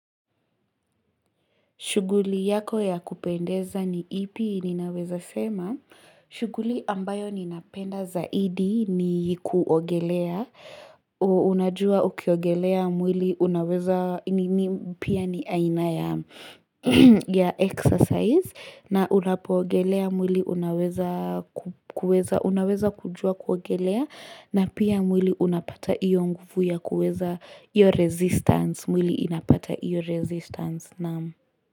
Shuguli yako ya kupendeza ni ipi ninaweza sema. Shuguli ambayo ninapenda zaidi ni kuogelea, ooh Unajua ukiogelea mwili unaweza nini pia ni aina ya exercise. Na unapoogelea mwili unaweza kujua kuogelea. Na pia mwili unapata iyo nguvu ya kuweza hiyo resistance. Mwili inapata iyo resistance.